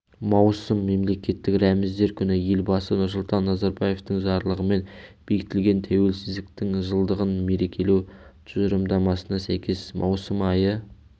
маусым мемлекеттік рәміздер күні елбасы нұрсұлтан назарбаевтың жарлығымен бекітілген тәуелсіздіктің жылдығын мерекелеу тұжырымдамасына сәйкес маусым айы